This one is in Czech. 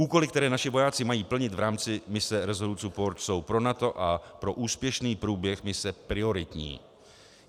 Úkoly, které naši vojáci mají plnit v rámci mise Resolute Support, jsou pro NATO a pro úspěšný průběh mise prioritní.